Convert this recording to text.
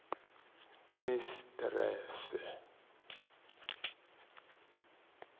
mistrese